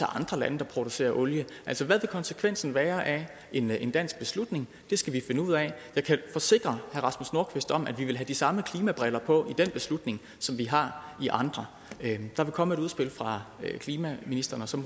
andre lande der producerer olie altså hvad vil konsekvensen være af en en dansk beslutning det skal vi finde ud af jeg kan forsikre herre rasmus nordqvist om at vi vil have de samme klimabriller på i den beslutning som vi har i andre der vil komme et udspil fra klimaministeren og så